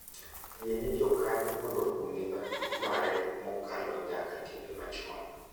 Yiene jokanyo mondo ong'e matut mare mokalo nyaka timbe machon.